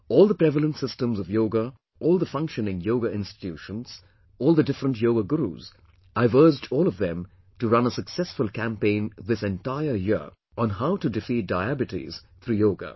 All the prevalent systems of Yoga, all the functioning Yoga institutions, all the different Yoga Gurus, I have urged all of them to run a successful campaign this entire year on how to defeat Diabetes through Yoga